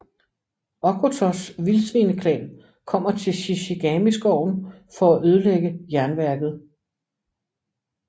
Okkotos Vildsvineklan kommer til Shishigami skoven for at ødelægge jernværket